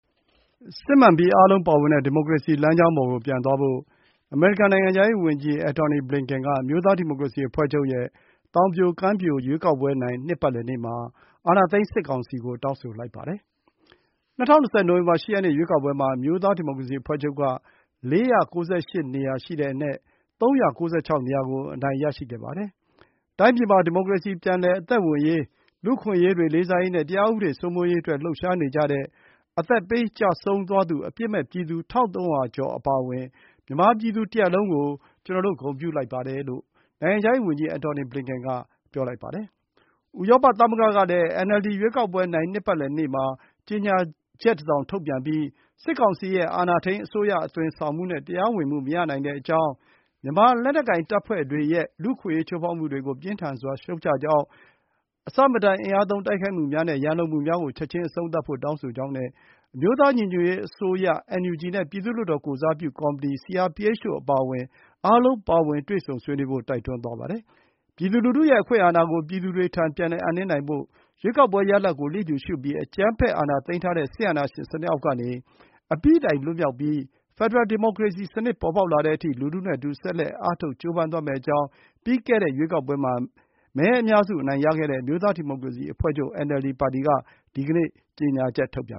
“စစ်မှန်ပြီး အားလုံးပါဝင်တဲ့ ဒီမိုကရေစီ” လမ်းကြောင်းပေါ်ကို ပြန်သွားဖို့ အမေရိကန် နိုင်ငံခြားရေးဝန်ကြီး Antony Blinken က အမျိုးသားဒီမိုကရေစီအဖွဲ့ချုပ်ရဲ့ သောင်ပြိုကမ်းပြို ရွေးကောက်ပွဲနိုင် နှစ်ပတ်လည်နေ့မှာ အာဏာသိမ်းစစ်ကောင်စီကို တောင်းဆိုလိုက်ပါတယ်။ ၂၀၂၀ နိုဝင်ဘာ ၈ ရက်နေ့ ရွေးကောက်ပွဲမှာ အမျိုးသားဒီမိုကရေစီအဖွဲ့ချုပ်က ၄၉၈ နေရာအနက် ၃၉၆ နေရာကို အနိုင်ရရှိခဲ့ပါတယ်။ “တိုင်းပြည်မှာ ဒီမိုကရေစီ ပြန်လည်အသက်ဝင်ရေး၊ လူ့အခွင့်အရေးတွေ လေးစားရေးနဲ့ တရားဥပဒေ စိုးမိုးရေးအတွက် လှုပ်ရှားနေကြတဲ့ အသက်ပေး ကျဆုံးသွားသူ အပြစ်မဲ့ပြည်သူ ၁,၃၀၀ ကျော် အပါအဝင် မြန်မာပြည်သူ တရပ်လုံးကို ကျနော်တို့ ဂုဏ်ပြုလိုက်ပါတယ်။” လို့ နိုင်ငံခြားရေးဝန်ကြီး Antony Blinken က ပြောပါတယ်။ ဥရောပသမဂ္ဂကလည်း NLD ရွေးကောက်ပွဲနိုင် နှစ်ပတ်လည်နေ့မှာ ကြေညာချက်တစောင် ထုတ်ပြန်ပြီး စစ်ကောင်စီရဲ့ အာဏာထိန်းအစိုးရ အသွင်ဆောင်မှုနဲ့ တရားဝင်မှု မရနိုင်ကြောင်း၊ မြန်မာလက်နက်ကိုင် တပ်ဖွဲ့တွေရဲ့ လူ့အခွင့်အရေး ချိုးဖောက်မှုတွေကို ပြင်းထန်စွာ ရှုတ်ချကြောင်း၊ အဆမတန် အင်အားသုံး တိုက်ခိုက်မှုများနဲ့ ရန်လိုမှုများကို ချက်ချင်း အဆုံးသတ်ဖို့ တောင်းဆိုကြောင်းနဲ့ အမျိုးသားညီညွတ်ရေးအစိုးရ (NUG) နဲ့ ပြည်သူ့လွှတ်တော် ကိုယ်စားပြုကော်မတီ (CRPH) တို့ အပါအဝင် အားလုံးပါဝင် တွေ့ဆုံဆွေးနွေးဖို့ တိုက်တွန်းသွားပါတယ်။ ပြည်သူလူထုရဲ့ အခွင့်အာဏာကို ပြည်သူတွေထံ ပြန်လည်အပ်နှင်းနိုင်ဖို့နဲ့ ရွေးကောက်ပွဲရလဒ်ကို လျစ်လျူရှုပြီး အကြမ်းဖက် အာဏာသိမ်းထားတဲ့ စစ်အာဏာရှင်စနစ် အောက်ကနေ အပြီးတိုင်လွတ်မြောက်ပြီး ဖက်ဒရယ် ဒီမိုကရေစီစနစ် ပေါ်ပေါက်လာတဲ့အထိ လူထုနဲ့အတူ ဆက်လက်အားထုတ် ကြိုးပမ်းသွားမယ့်အကြောင်း ပြီးခဲ့တဲ့ ရွေးကောက်ပွဲမှာ မဲအများစု အနိုင်ရခဲ့တဲ့ အမျိုးသားဒီမိုကရေစီအဖွဲ့ချုပ် (NLD) ပါတီက ဒီကနေ့ ကြေညာချက် ထုတ်ပြန်